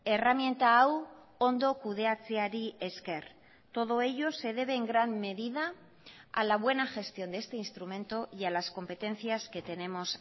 erreminta hau ondo kudeatzeari esker todo ello se debe en gran medida a la buena gestión de este instrumento y a las competencias que tenemos